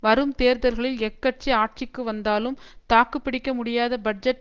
வரும் தேர்தல்களில் எக்கட்சி ஆட்சிக்கு வந்தாலும் தாக்கு பிடிக்க முடியாத பட்ஜெட்